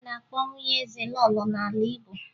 A na-akpọ nwunye eze lọọlọ n'ala Igbo